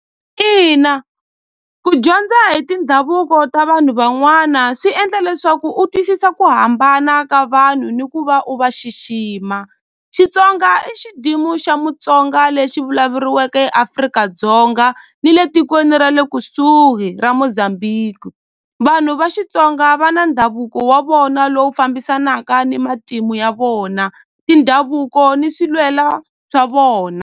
Ina ku dyondza hi tindhavuko ta vanhu van'wana swi endla leswaku u twisisa ku hambana ka vanhu ni ku va u va xixima Xitsonga i xa Mutsonga lexi vulavuriweke eAfrika-Dzonga ni le tikweni ra le kusuhi ra Mozambique vanhu va Xitsonga va na ndhavuko wa vona lowu fambisanaka ni matimu ya vona tindhavuko ni swi lwela swa vona.